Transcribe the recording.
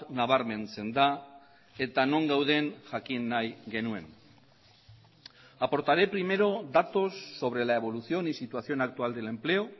nabarmentzen da eta non gauden jakin nahi genuen aportaré primero datos sobre la evolución y situación actual del empleo